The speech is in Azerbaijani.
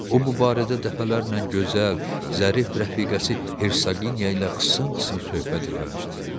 O bu barədə dəfələrlə gözəl, zərif rəfiqəsi Hersaqinya ilə xısın-xısın söhbət eləmişdi.